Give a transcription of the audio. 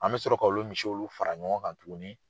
An bɛ sɔrɔ k'a olu misi ulu fara ɲɔgɔn kan tuguni.